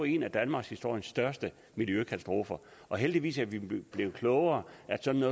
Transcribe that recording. en af danmarkshistoriens største miljøkatastrofer heldigvis er vi blevet klogere